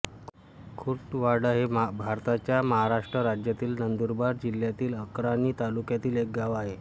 खुटवाडा हे भारताच्या महाराष्ट्र राज्यातील नंदुरबार जिल्ह्यातील अक्राणी तालुक्यातील एक गाव आहे